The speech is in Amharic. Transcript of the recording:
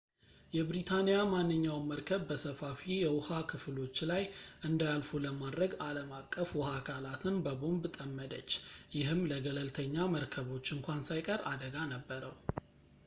የብሪታንያ ማንኛውም መርከብ በሰፋፊ የውሃ ክፍሎች ላይ እንዳያልፉ ለማድረግ ዓለም አቀፍ ውሃ አካላትን በቦምብ ጠመደች ይህም ለገለልተኛ መርከቦች እንኳን ሳይቀር አደጋ ነበረው